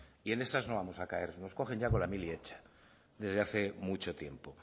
y en esas no vamos a caer nos cogen ya con la mili hecha desde hace mucho tiempo